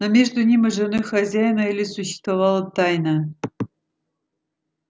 но между ним и женой хозяина элис существовала тайна